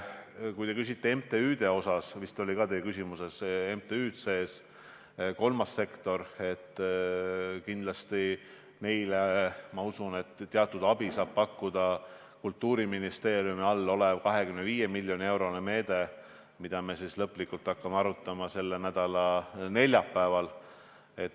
Kui te küsite MTÜ-de kohta – vist olid ka MTÜ-d teie küsimuses sees, kolmas sektor –, siis neile, ma usun, saab teatud abi pakkuda Kultuuriministeeriumi all olev 25 miljoni euro meede, mida me lõplikult hakkame arutama selle nädala neljapäeval.